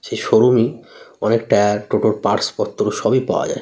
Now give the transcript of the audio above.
সে শোরুমে অনেক টায়ার টোটোর পার্টস পত্র সবই পাওয়া যায়।